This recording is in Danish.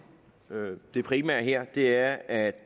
det primære her er at